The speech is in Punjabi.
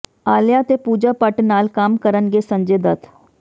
ਆਲੀਆ ਤੇ ਪੂਜਾ ਭੱਟ ਨਾਲ ਕੰਮ ਕਰਨਗੇ ਸੰਜੇ ਦੱਤ